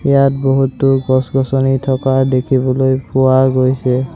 ইয়াত বহুতো গছ-গছনি থকা দেখিবলৈ পোৱা গৈছে।